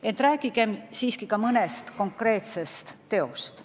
Ent rääkigem siiski ka mõnest konkreetsest teost.